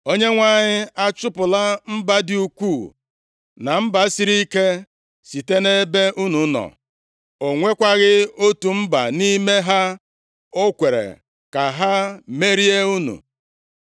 “ Onyenwe anyị achụpụla mba dị ukwuu na mba siri ike site nʼebe unu nọ. O nwekwaghị otu mba nʼime ha o kwere ka ha merie unu.